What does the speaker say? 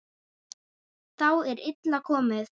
Þá er illa komið.